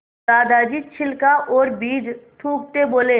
दादाजी छिलका और बीज थूकते बोले